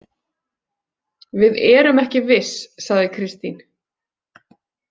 Við erum ekki viss, sagði Kristín.